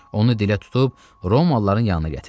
Onu dilə tutub Romalıların yanına gətirdi.